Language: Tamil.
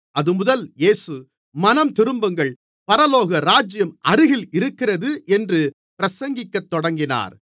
அதுமுதல் இயேசு மனந்திரும்புங்கள் பரலோக ராஜ்யம் அருகில் இருக்கிறது என்று பிரசங்கிக்கத் தொடங்கினார்